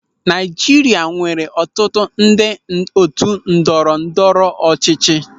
Naịjirịa nwere ọtụtụ ndị otu ndọrọ ndọrọ ọchịchị.